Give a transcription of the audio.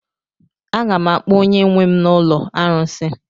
A ga m akpọ onye nwe m na ụlọ arụsị.